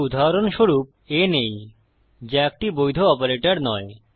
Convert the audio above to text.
তাই উদাহরণস্বরূপ a নেই যা একটি বৈধ অপারেটর নয়